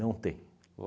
tem.